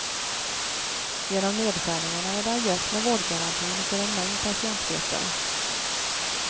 Genom nedskärningarna är det ajöss med vårdgarantin för en mängd patientgrupper.